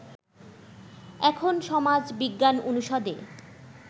এখন সমাজ বিজ্ঞান অনুষদে